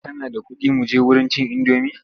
Kana da kuɗi muje wurin cin indomi?